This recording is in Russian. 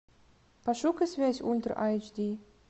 пошукай связь ультра айч ди